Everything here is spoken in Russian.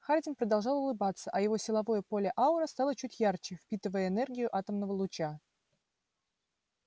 хардин продолжал улыбаться а его силовое поле-аура стало чуть ярче впитывая энергию атомного луча